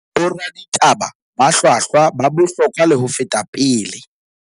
Boraditaba ba hlwahlwa ba bohlokwa le ho feta pele.